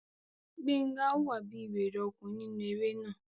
Gbénga hùwà bí wèrè ọkùnrin nínú eré náà